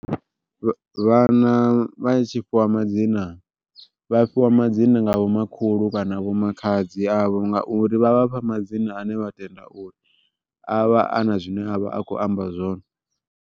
Vhana vha tshi fhiwa madzina vha fhiwa madzina nga vho makhulu kana vho makhadzi avho ngauri, vha vhafha madzina ane vha tenda uri avha ana zwine avha a kho amba zwone.